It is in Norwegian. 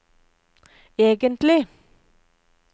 egentlig